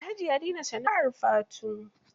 Alhaji ya dena sana'ar fatu.